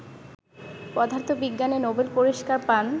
পদার্থবিজ্ঞানে নোবেল পুরস্কার পান